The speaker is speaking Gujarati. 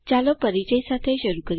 ચાલો પરિચય સાથે શરૂ કરીએ